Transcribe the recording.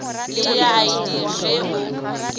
le ya id ge o